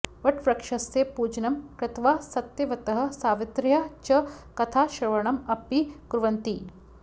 वटवृक्षस्य पूजनं कृत्वा सत्यवतः सावित्र्याः च कथाश्रवणम् अपि कुर्वन्ति